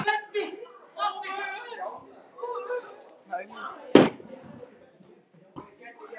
Þess vegna á ég erfitt með að skilja þetta.